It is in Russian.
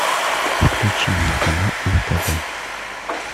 включи мне канал нтв